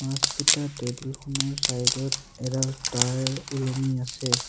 মাছকিটাৰ টেবুল খনৰ চাইড ত এডাল তাঁৰ ওলমি আছে।